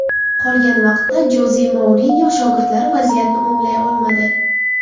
Qolgan vaqtda Joze Mourinyo shogirdlari vaziyatni o‘nglay olmadi.